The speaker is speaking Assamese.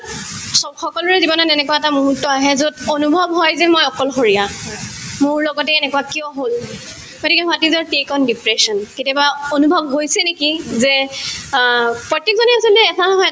চব‍ সকলোৰে জীৱনত এনেকুৱা এটা মুহুৰ্ত এটা আহে যত অনুভৱ হয় যেন মই অকলশৰীয়া মোৰ লগতে এনেকুৱা কিয় হল গতিকে what is your take on depression কেতিয়াবা অনুভৱ হৈছে নেকি যে অ প্ৰত্যেকজনে আচলতে এটা নহয় এটা